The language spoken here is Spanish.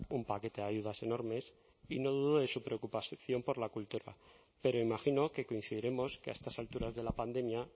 un paquete de ayudas enormes y no dudo de su preocupación por la cultura pero imagino que coincidiremos que a estas alturas de la pandemia